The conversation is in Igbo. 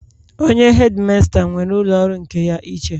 Onye hedimasta nwere ụlọ ọrụ nke ya iche